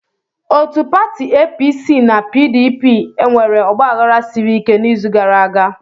Otu pati APC na PDP enwere ọgbaghara siri ike n'izu gara aga.